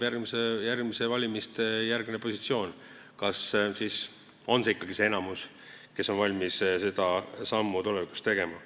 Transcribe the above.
Järgmiste valimiste järgne positsioon näitab, kas ikkagi on see enamus, kes on valmis seda sammu tulevikus tegema.